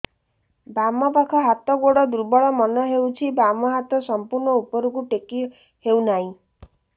ବାମ ପାଖ ହାତ ଗୋଡ ଦୁର୍ବଳ ମନେ ହଉଛି ବାମ ହାତ ସମ୍ପୂର୍ଣ ଉପରକୁ ଟେକି ହଉ ନାହିଁ